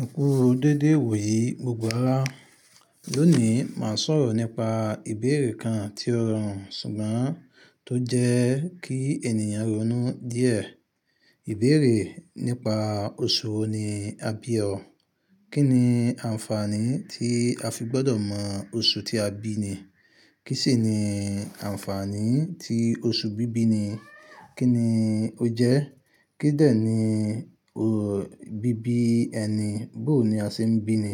Ẹ kú dédé ìwò yìí gbogbo ara. Lónìí, máa sọ̀rọ̀ nípa ìbéèrè kan tí ó rọrùn ṣùgbọ́n tó jẹ́ kí ènìyàn ronú díẹ̀. Ìbéèrè nípa oṣù wo ni a bí ọ? Kí ni ànfàní tí a fi gbọ́dọ̀ mọ oṣù tí a bí ni? Kí sì ni ànfàní tí oṣù bíbí ni? Kí ni ó jẹ́? Kí dẹni bíbí ẹni? Bó ni a ṣe ń bí ni?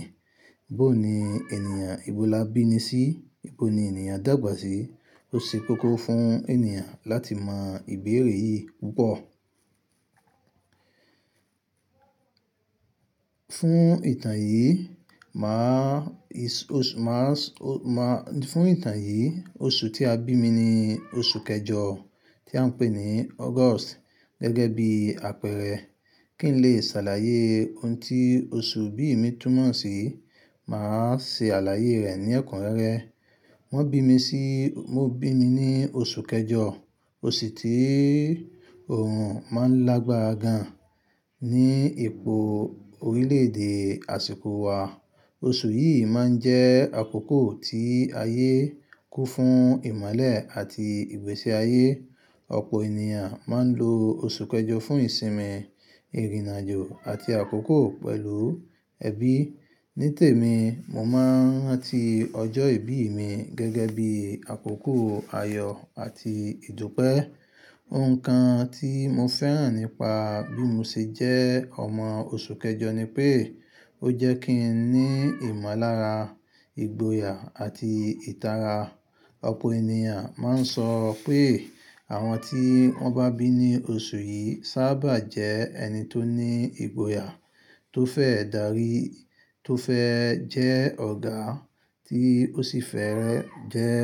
Bó ni ènìyàn ibo la bí ni sí? Ibo ni ènìyàn dàgbà sí? Ó ṣe kókó fún ènìyàn láti mọ ìbéèrè yìí púpọ̀. Fún ìtàn yìí, máà, ìs, òṣù, máàs, o má-- fún ìtàn yìí, oṣù tí a bí mi ni oṣù kẹjọ tí à ń pè ní August gẹ́gẹ́ bí àpẹẹrẹ. Kí n lè ṣàlàyé ohun tí oṣù bí ì mi túmọ̀ sí, màá ṣe àlàyé rẹ̀ ní ẹ̀kún rẹ́rẹ́. Wọ́n bí mi sí, wọ́n bí mi ní oṣù kẹjọ, oṣù tí òòrùn máa ń lágbára gan ní ipò orílẹ̀-èdè àsìkò wa. Oṣù yìí máa ń jẹ́ àkókò tí ayé ku fún ìmọ́lẹ̀ àti ìgbésí ayé. Ọ̀pọ̀ ènìyàn máa ń lo oṣù kẹjọ fún ìsinmi, ìrìnàjò àti àkókò pẹ̀lú ẹbí. Nítèmi, mo máa ń rántí ọjọ́ ìbí mi gẹ́gẹ́ bí àkókò ayọ̀ àti ìdúpẹ́. Ohun kan tí mo fẹ́ràn nípa bí mo ṣe jẹ́ ọmọ oṣù kẹjọ ni pé ó jẹ́ kí n ní ìmọ̀lára, ìgboyà àti ìtara. Ọ̀pọ̀ ènìyàn máa ń sọ pé àwọn tí wọ́n bá bí ní oṣù yìí sábà jẹ́ ẹni tó ní ìgboyà, tó fẹ́ darí, tó fẹ́ jẹ́ ọ̀gá tí ó sì fẹ́rẹ́ jẹ́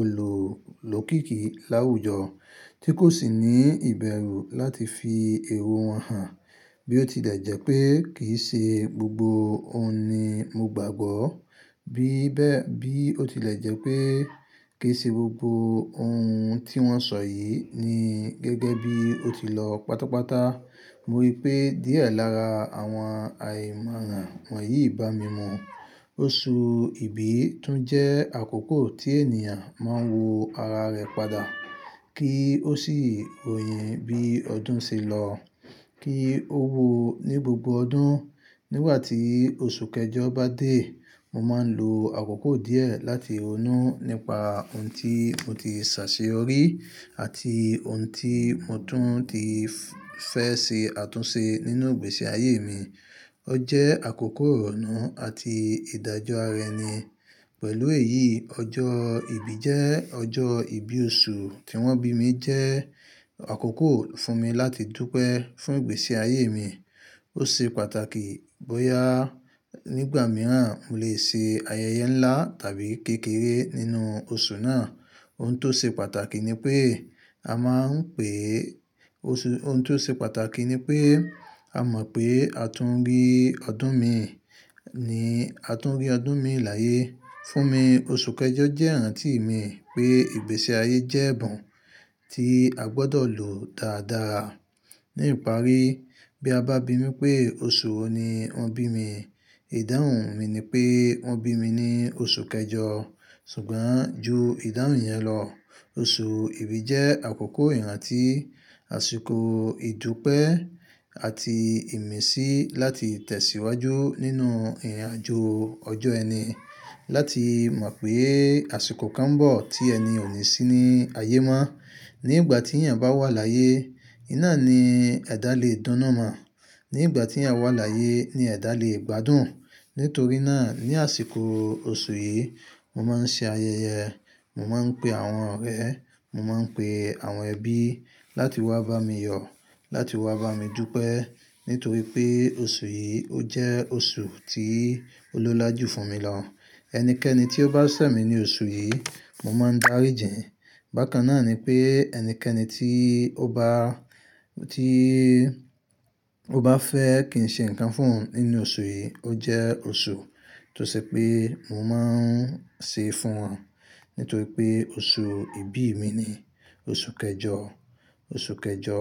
olú-lókìkí láwùjọ tí kò sì ní ìbẹ̀rù láti fi èwọ̀ wọn hàn. Bí ó tilẹ̀ jẹ́ pé kì í ṣe gbogbo ohun ni mo gbàgbọ́, bí bẹ́, bí ó tilẹ̀ jẹ́ pé kì í ṣe gbogbo ohun tí wọ́n sọ yìí ni gẹ́gẹ́ bí ó ti lọ pátápátá, mo rí i pé díẹ̀ lára àwọn àìmọ́ran wọ̀nyí bà mí mu. Oṣù ìbí tún jẹ́ àkókò tí ènìyàn máa ń wo ara rẹ̀ padà kí ó sì òyìnbí ọdún sì lọ kí ó wò ó ní gbogbo ọdún. Nígbà tí oṣù kẹjọ bá dé, mo máa ń lo àkókò díẹ̀ láti ronú nípa ohun tí mo ti ṣàṣeyọrí àti ohun tí mo tún ti fẹ́ ṣe àtúnṣe nínú ìgbésí ayé mi. Ó jẹ́ àkókò ìrọ̀nu àti ìdájọ́ ara ẹni. Pẹ̀lú èyí, ọjọ́ ìbí jẹ́ ọjọ́ ìbí oṣù tí wọ́n bí mi jẹ́ àkókò fún mi láti dúpẹ́ fún ìgbésí ayé mi. Ó ṣe pàtàkì bóyá nígbà mìíràn mo lè ṣe ayẹyẹ ńlá tàbí kékeré nínú oṣù náà. Ohun tó ṣe pàtàkì ni pé a máa ń pè oṣù, ohun tó ṣe pàtàkì ni pé a mọ̀ pé a tún rí ọdún mi, ni a tún rí ọdún mi láàyè. Fún mi, oṣù kẹjọ jẹ́ ìrántí mi pé ìgbésí ayé jẹ́ ẹ̀bùn tí a gbọ́dọ̀ lò dáadáa. Ní ìparí, bí a bá bi mí pé oṣù wo ni wọ́n bí mi, ìdáhùn mi ni pé wọ́n bí mi ní oṣù kẹjọ. Ṣùgbọ́n ju ìdáhùn yẹn lọ, oṣù ìbí jẹ́ àkókò ìrántí àsìkò, ìdúpẹ́ àti ìmísí láti tẹ̀síwájú nínú ìrìnàjò ọjọ́ ẹni, láti mọ̀ pé àsìkò kan ń bọ̀ tí ẹni yẹn o ní sí ní ayé mọ́. Nígbà tí ènìyàn bá wà láàyè, iná ni ẹ̀dá lè dùnù mọ̀. Nígbà tí ènìyàn wà láàyè ni ẹ̀dá lè gbádùn. Nítorí náà, ní àsìkọ̀ oṣù yìí, mo máa ń ṣe ayẹyẹ. Mo máa ń pe àwọn ọ̀rẹ́, mo máa ń pe àwọn ẹbí láti wá bá mi yọ̀, láti wá bá mi dúpẹ́ nítorí pé oṣù yìí ó jẹ́ oṣù tí ó lólájú fún mi lọ. Ẹnikẹ́ni tí ó bá ṣẹ̀ mi ní oṣù yìí, mo máa ń darí jìn. Bàkan náà ni pé ẹnikẹ́ni tí ó bá, tí ó bá fẹ́ kí n ṣe nǹkan fún òun nínú oṣù yìí, ó jẹ́ oṣù tó ṣe pé mo máa ń ṣe fún wọn nítorí pé oṣù ìbí mi ni oṣù kẹjọ, oṣù kẹjọ.